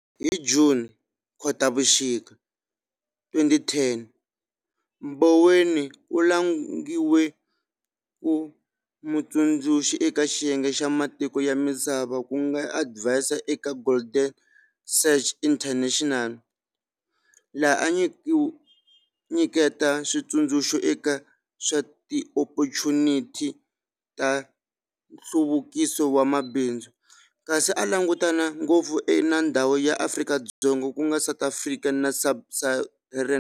Hi Juni, Khotavuxika, 2010, Mboweni u langiwe ku mutsundzuxi eka xiyenge xa matiko ya misava ku nga Adviser eka Goldman Sachs International, laha a nyiketa switsundzuxo eka swa tiophochuniti ta nhluvukiso wa mabindzu, kasi a langutana ngopfu na ndhawu ya Afrika-Dzonga ku nga South Africa na Sub-Saharan.